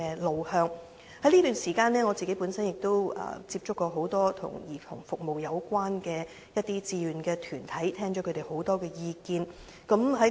在這段時間內，我亦曾接觸多個與兒童服務有關的志願團體，聽取了很多意見。